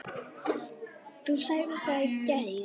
Þú sagðir það í gær.